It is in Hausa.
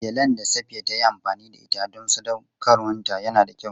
Gelen da Safiya ta yi amfani da ita don sadaukarwarta yana da kyau.